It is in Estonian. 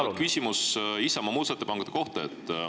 Mul on küsimus Isamaa muudatusettepanekute kohta.